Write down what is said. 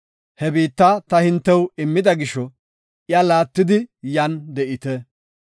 He biitta ta hintew immida gisho iya laattidi yan de7ite.